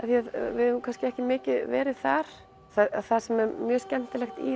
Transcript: við höfum kannski ekki mikið verið þar það sem er mjög skemmtilegt í